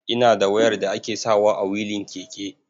Ina da wayar da ake sawa a wilin keke.